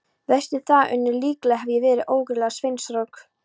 Veistu það, Unnur, líklega hef ég verið ógurlega seinþroska.